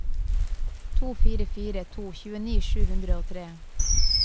to fire fire to tjueni sju hundre og tre